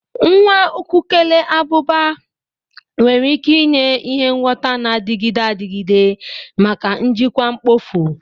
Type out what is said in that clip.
Nwa ukukele abụba nwere ike inye ihe ngwọta na-adịgide adịgide maka njikwa mkpofu.